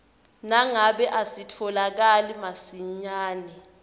nangabe asitfolakali masinyane